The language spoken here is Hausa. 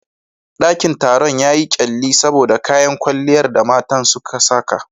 Dakin taron yayi kyalli saboda kayan kwalliyar da matan suka saka.